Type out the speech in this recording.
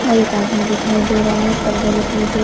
और एक आदमी दिखाई दे रहा है पर्दा दिखाई दे--